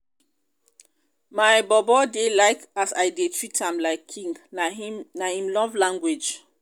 my bobo dey like as i dey treat am like king na im love language.